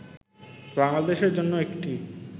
বাংলাদেশ এর জন্য একটি